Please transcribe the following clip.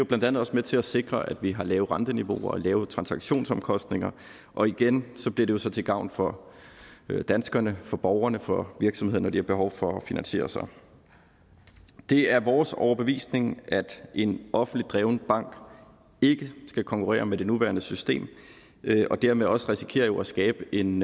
blandt andet også med til at sikre at vi har lave renteniveauer og lave transaktionsomkostninger og igen bliver det jo så til gavn for danskerne for borgerne og for virksomhederne når de har behov for at finansiere sig det er vores overbevisning at en offentligt drevet bank ikke skal konkurrere med det nuværende system og dermed også risikere at skabe en